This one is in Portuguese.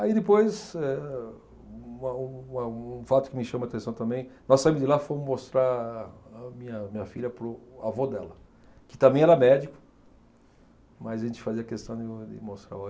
Aí depois, eh, uma um, uma um fato que me chama a atenção também, nós saímos de lá e fomos mostrar a minha, minha filha para o avô dela, que também era médico, mas a gente fazia questão de de mostrar.